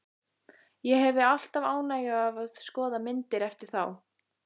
Ég hefi alltaf ánægju af að skoða myndir eftir þá.